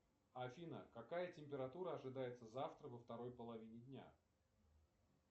афина какая температура ожидается завтра во второй половине дня